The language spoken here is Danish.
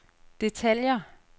detaljer